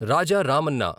Raja Ramanna